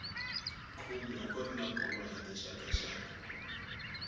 khume a kuri na bolo ya tixakaxaka